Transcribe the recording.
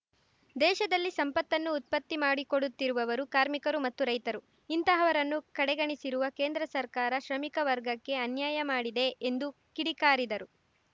ದೇಶದಲ್ಲಿ ಸಂಪತ್ತನ್ನು ಉತ್ಪತ್ತಿ ಮಾಡಿಕೊಡುತ್ತಿರುವವರು ಕಾರ್ಮಿಕರು ಮತ್ತು ರೈತರು ಇಂತಹವರನ್ನು ಕಡೆಗಣಿಸಿರುವ ಕೇಂದ್ರ ಸರ್ಕಾರ ಶ್ರಮಿಕ ವರ್ಗಕ್ಕೆ ಅನ್ಯಾಯ ಮಾಡಿದೆ ಎಂದು ಕಿಡಿಕಾರಿದರು